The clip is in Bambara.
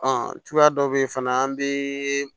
cogoya dɔ be ye fana an bee